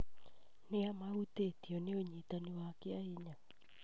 Nĩa mahutĩtio nĩ ũnyitani kĩahinya?